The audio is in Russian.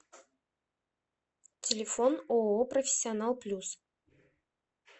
телефон ооо профессионал плюс